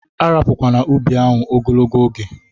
A rapukwana ubi ahụ ogologo oge!